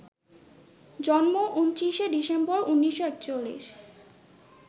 জন্ম ২৯শে ডিসেম্বর, ১৯৪১